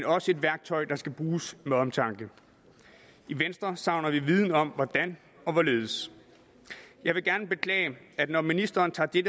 også et værktøj der skal bruges med omtanke i venstre savner vi viden om hvordan og hvorledes jeg vil gerne beklage at når ministeren tager det